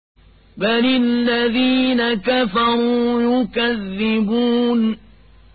بَلِ الَّذِينَ كَفَرُوا يُكَذِّبُونَ